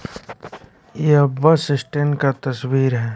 यह bus stand का तस्वीर है।